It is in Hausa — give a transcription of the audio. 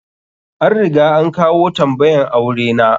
An riga an kawo tambayan aure na.